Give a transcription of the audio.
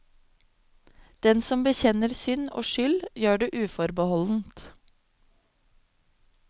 Den som bekjenner synd og skyld, gjør det uforbeholdent.